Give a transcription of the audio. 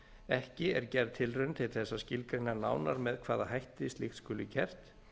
ekki er gerð tilraun til þess að skilgreina nánar með hvaða hætti slíkt skuli gert